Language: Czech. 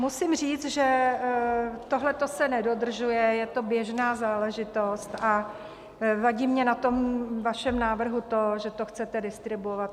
Musím říct, že tohle se nedodržuje, je to běžná záležitost, a vadí mně na tom vašem návrhu to, že to chcete distribuovat.